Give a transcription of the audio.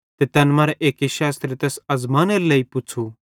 तैन मरां अक शास्त्री तैस अज़मानेरे लेइ यीशुए पुच़्छ़ू